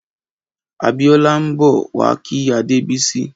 Abiola n bọ wà kí Adebisi